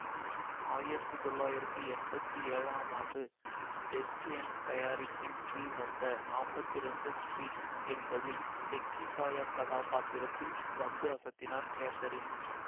ஆயிரத்தி தொள்ளாயிரத்தி எம்பத்தி ஏழாம் ஆண்டு வெஸ்ட் எண்ட் தயாரிப்பின் கீழ் வந்த நாப்பத்தி இரண்டு ஸ்டீரீட் என்பதில் பெக்கி சாயர் கதாப்பாத்திரத்தில் வந்து அசத்தினார் கேதரின்